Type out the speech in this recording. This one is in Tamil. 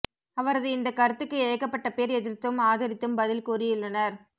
அவரது இந்த கருத்துக்கு ஏகப்பட்ட பேர் எதிர்த்தும் ஆதரித்தும் பதில் கூறியுள்ளனர்